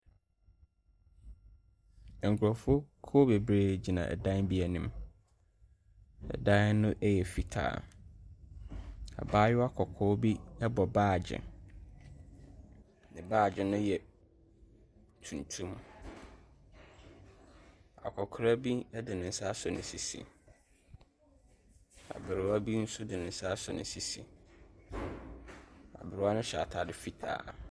Nkurɔfuokuo bebree gyina ɛdan bi anim. Ɛdan no yɛ fitaa. Abaayewa kɔkɔɔ bi bɔ baage. Ne baage no yɛ tuntum. Akɔkora bi de ne nsa asɔ ne sisi. Aberewa bi nso de ne nsa asɔ ne sisi. Na aberewa no hyɛ atade fitaa.